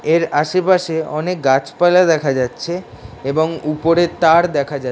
এর আশেপাশে অনেক গাছপালা দেখা যাচ্ছে এবং উপরে তার দেখা যাচ --